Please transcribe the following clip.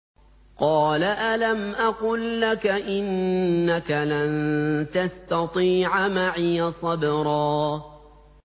۞ قَالَ أَلَمْ أَقُل لَّكَ إِنَّكَ لَن تَسْتَطِيعَ مَعِيَ صَبْرًا